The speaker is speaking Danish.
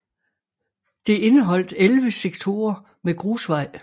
Det indeholdt 11 sektorer med grusvej